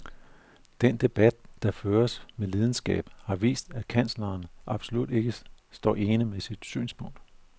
Den debat, der føres med lidenskab, har vist, at kansleren absolut ikke står ene med sit synspunkt.